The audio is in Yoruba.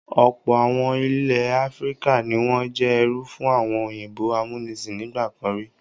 Ọ̀pọ̀ àwọn ilẹ̀ Áfíríkà ni wọ́n jẹ́ ẹrú fún àwọn òyìnbó amúnisìn nígbà kan rí.